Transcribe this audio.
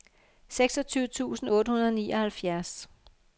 seksogtyve tusind otte hundrede og nioghalvfjerds